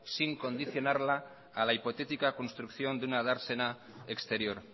sin condicionarla a la hipotética construcción de una dársena exterior